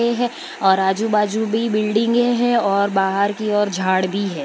ये है और आजू बाजू भी बिल्डिंगे हैं और बाहर की ओर झाड़ भी है।